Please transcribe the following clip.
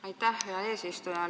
Aitäh, hea eesistuja!